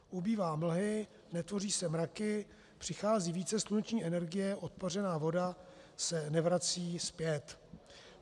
Ubývá mlhy, netvoří se mraky, přichází více sluneční energie, odpařená voda se nevrací zpět."